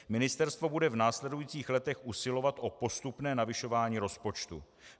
Ministerstvo bude v následujících letech usilovat o postupné navyšování rozpočtu.